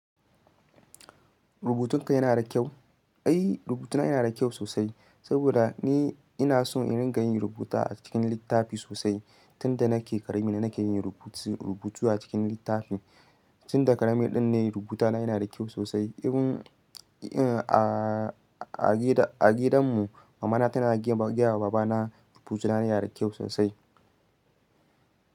Rubutunka yana da kyau? Ai rubutuna yana da kyau sosai, saboda ni ina so ina rinƙa yin rubuta a cikin littafi sosai. Tunda nake ƙarami na nake yin rubutu a cikin littafi. Tun da ƙarami din ne rubutuna yana da kyau sosai. A gidanmu mamana tana gaya wa babana rubutuna yana da kyau sosai.